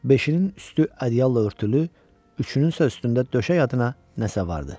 Beşinin üstü ədyalla örtülü, üçününsə üstündə döşək adına nəsə vardı.